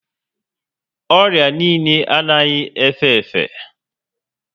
Orịa niile anaghị efe efe